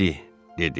İndi, dedi.